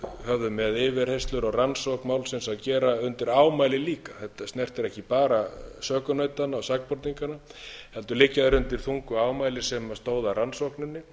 höfðu með yfirheyrslur og rannsókn málsins að gera undir ámæli líka þetta snertir ekki bara sökunautana og sakborningana heldur liggja þeir undir þungu ámæli sem stóðu að rannsókninni